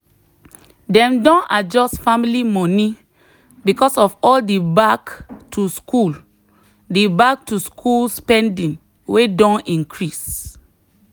dem don adjust family money because of all the back-to-school the back-to-school spending wey don increase.